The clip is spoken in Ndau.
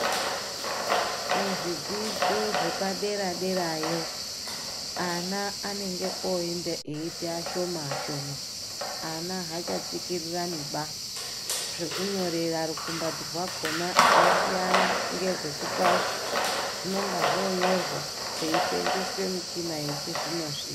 Kuzvidzidzo zvepaderaderayo ana anenge oite eite ashoma ashoma. Ana haachatsikiriraniba zvekunyorera rukumbati rwakona zvasiyana ngezvepashi. Zvinenge zvonyorwa zveisenzeswe mishina yechizvino zvino .